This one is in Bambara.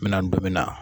N bɛna don min na